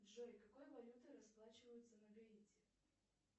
джой какой валютой расплачиваются на гаити